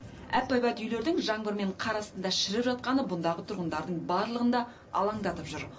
әп әйбат үйлердің жаңбыр мен қар астында шіріп жатқаны бұндағы тұрғындардың барлығын да алаңдатып жүр